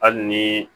Hali ni